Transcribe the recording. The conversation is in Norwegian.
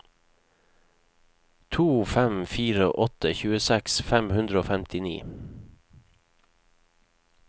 to fem fire åtte tjueseks fem hundre og femtini